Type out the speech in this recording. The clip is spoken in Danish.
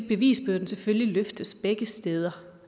bevisbyrden selvfølgelig løftes begge steder